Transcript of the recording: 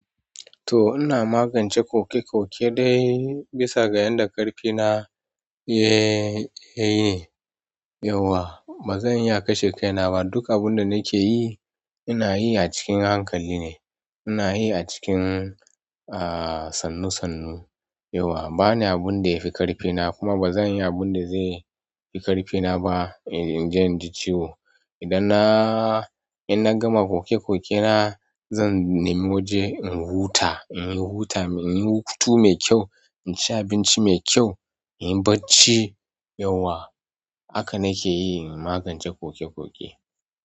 To ina magance koke koke dai bisa ga yadda ƙarfina ya, ya yi yauwa. Ba zan iya kashe kaina ba. Duk abun da nake yi ina yi a cikin hankali ne. Ina yi a cikin, a, sannu sannu. Yauwa, ba na abun da ya fi ƙarfina kuma ba zan yi abun da zai fi ƙarfina ba in, in je in ji ciwo. Idan na, in na gama koke koke na zan nemi waje in huta, in yi huta, in yi hutu mai kyau, in ci abinci mai kyau, in yi barci, yauwa. Haka nake yi in magance koki ƙoƙi.